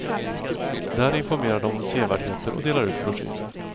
Där informerar de om sevärdheter och delar ut broschyrer.